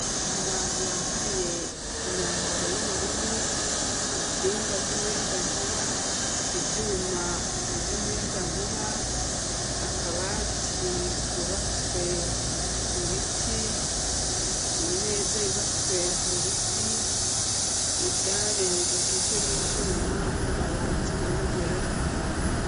Abantu bambaye imyambaro y'ubururu, intsinga z'umuyagankuba, ivyuma vy'umuyagankuba, akabati kubatswe mu bitiimeza yubatswe mu biti, idare rigizwe n'ivyuma n'amabati, uruhome rwera.